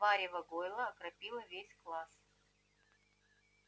варево гойла окропило весь класс